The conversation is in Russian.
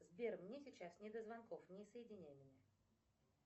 сбер мне сейчас не до звонков не соединяй меня